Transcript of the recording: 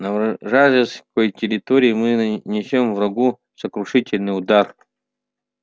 на вражеской территории мы нанесём врагу сокрушительный удар